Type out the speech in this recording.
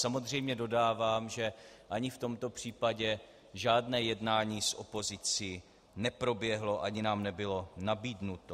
Samozřejmě dodávám, že ani v tomto případě žádné jednání s opozicí neproběhlo ani nám nebylo nabídnuto.